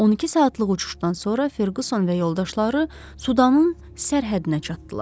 12 saatlıq uçuşdan sonra Ferquson və yoldaşları Sudanın sərhəddinə çatdılar.